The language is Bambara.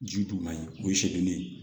Ji dun man ɲi o ye segili ye